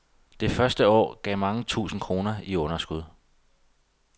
Det første år gav mange tusind kroner i underskud.